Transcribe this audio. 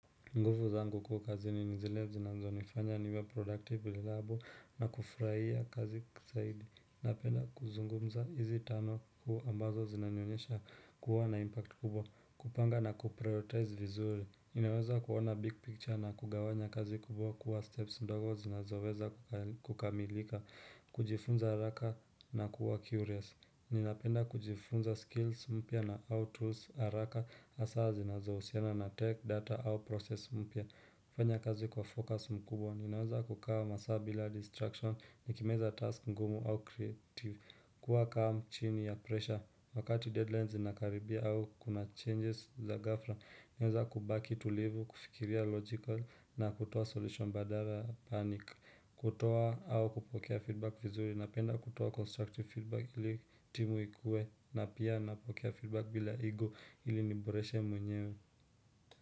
Nguvu zangu kuu kazini ni zile zinazonifanya niwe productive, reliable na kufurahia kazi zaidi. Napenda kuzungumza hizi tano kuu ambazo zinanyonyesha kuwa na impact kubwa, kupanga na kuprioritize vizuri. Ninaweza kuoana big picture na kugawanya kazi kubwa kuwa steps mdogo zinazoweza kukamilika, kujifunza haraka na kuwa curious. Ninapenda kujifunza skills mpya na how tools haraka hasaa zinazohusiana na tech data au process mpya. Kufanya kazi kwa focus mkubwa, ninaweza kukaa masaa bila distraction nikimeza task ngumu au creative kuwa calm chini ya pressure. Wakati deadline zinakaribia au kuna changes za ghafla ninaweza kubaki tulivu, kufikiria logical na kutoa solution badala panic kutoa au kupokea feedback vizuri. Napenda kutoa constructive feedback ili timu ikuwe na pia napokea feedback bila ego ili niboreshe mwenyewe.